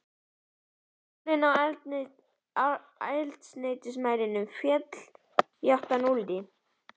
Nálin á eldsneytismælinum féll í átt að núlli.